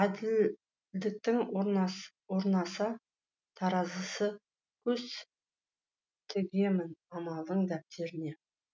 әділдіктің орнаса таразысы көз тігемін амалдың дәптеріне